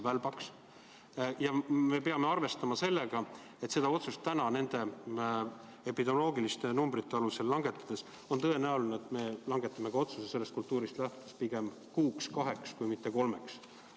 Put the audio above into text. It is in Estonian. Samas peame arvestama sellega, et otsustades praeguste epidemioloogiliste näitajate järgi on tõenäoline, et me langetame otsuse sellest kõigest lähtudes pigem kuuks-kaheks, kui mitte kolmeks.